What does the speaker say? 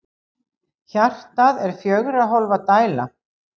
Hjartað er fjögurra hólfa dæla.